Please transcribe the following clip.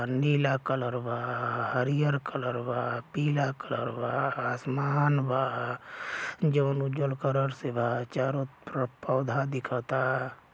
नीला कलर बा हरियर कलर बापिला कलर बा आसमान बा जउन उजर क्लर से बा चारो तरफ पोधा दिखता।